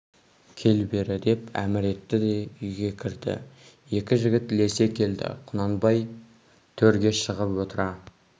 кел бері деп әмір етті де үйге кірді екі жігіт ілесе келді құнанбай төрге шығып отыра